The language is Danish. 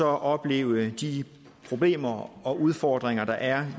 opleve de problemer og udfordringer der er